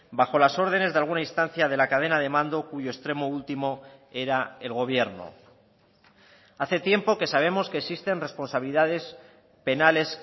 bajo las órdenes de alguna instancia de la cadena de mando cuyo extremo último era el gobierno hace tiempo que sabemos que existen responsabilidades penales